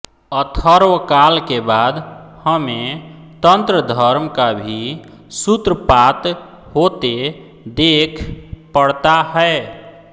अथर्वकाल के बाद हमें तन्त्रधर्म का भी सूत्रपात होते देख पड़ता है